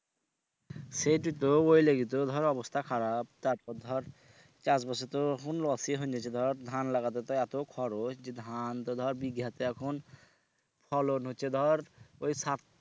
সেইটো তো ওই লিগে তো ধর অবস্থা খারাপ তারপর ধর চাষবাসে তো হুন loss ই হুন গেছে ধর ধান লাগাতে তো এত খরচ যে ধান তো ধর বিঘাতে এখন ফলন হচ্ছে ধর ওই সাত